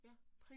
Ja